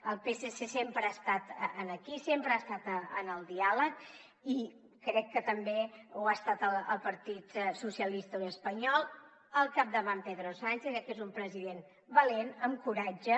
el psc sempre ha estat aquí sempre ha estat en el diàleg i crec que també ho ha estat el partit socialista obrer espanyol al capdavant pedro sánchez crec que és un president valent amb coratge